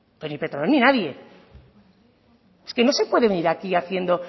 pero ni petronor ni nadie es que no se puede venir aquí haciendo